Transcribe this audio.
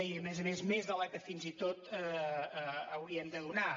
i a més a més més de la que fins i tot hauríem de donar